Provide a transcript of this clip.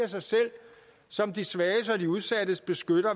sig selv som de svage og udsattes beskytter